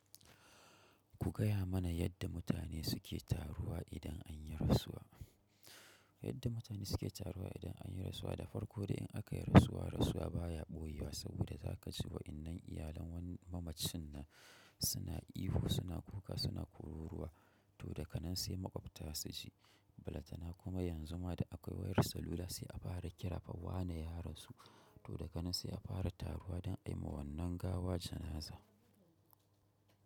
Ku gaya mana yadda mutane suke taruwa idan anyi rasuwa? Yadda mutane suke taruwa idan anyi rasuwa, da farko dai in aka yi rasuwa, rasuwa baya ɓoye wa saboda za ka ji wa'innen iyalan wani mamacin nan suna ihu, suna kuka, suna kururuwa, to daga nan sai maƙwabta su ji, balatta na kuma yanzu ma da akwai wayar salula sai a fara kira fa wane ya rasu, to daga nan sai a fara taruwa don a yi ma wannan gawa janaza.